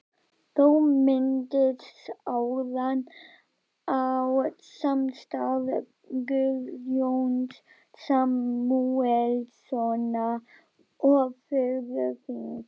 Þú minntist áðan á samstarf Guðjóns Samúelssonar og föður þíns.